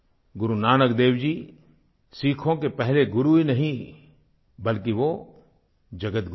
गुरु नानक देव जी सिक्खों के पहले गुरु ही नहीं बल्कि वो जगतगुरु हैं